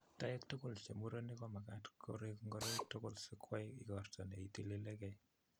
Toek tugul chemurenik komagaat koreek ngoroik tugul sikwai igorto neitilegee.